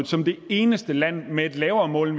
som det eneste land med et lavere mål